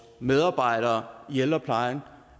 medarbejdere i ældreplejen